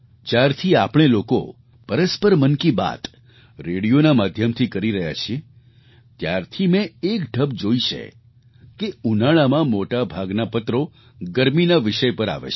જ્યારથી આપણે લોકો પરસ્પર મન કી બાત રેડિયોના માધ્યમથી કરી રહ્યા છીએ ત્યારથી મેં એક ઢબ જોઈ છે કે ઉનાળામાં મોટા ભાગના પત્રો ગરમીના વિષય પર આવે છે